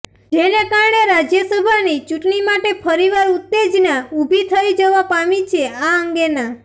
જેને કારણે રાજ્યસભાની ચૂંટણી માટે ફરીવાર ઉત્તેજના ઊભી થઈ જવા પામી છે આ અંગે ના